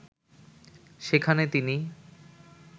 সেখানে তিনি